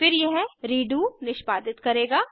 फिर यह रेडो निष्पादित करेगा